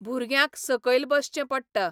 भुरग्यांक सकयल बसचें पडटा.